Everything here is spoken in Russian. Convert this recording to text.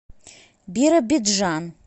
биробиджан